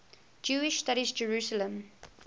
jewish studies jerusalem